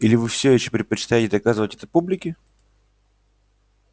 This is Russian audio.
или вы всё ещё предпочитаете доказывать это публике